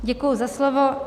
Děkuji za slovo.